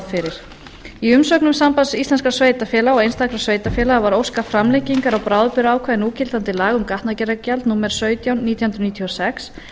fyrir í umsögnum sambands íslenskum sveitarfélaga og einstakra sveitarfélaga var óskað framlengingar á bráðabirgðaákvæði núgildandi laga um gatnagerðargjald númer sautján nítján hundruð níutíu og sex